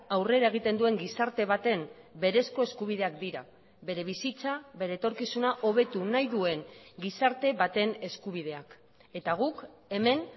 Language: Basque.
aurrera egiten duen gizarte baten berezko eskubideak dira bere bizitza bere etorkizuna hobetu nahi duen gizarte baten eskubideak eta guk hemen